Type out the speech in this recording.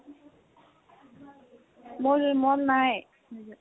মোৰ, মোৰ নাই major